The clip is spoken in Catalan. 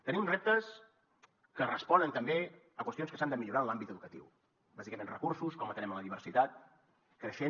tenim reptes que responen també a qüestions que s’han de millorar en l’àmbit educatiu bàsicament recursos com atenem la diversitat creixent